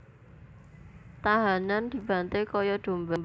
Tahanan dibanté kaya domba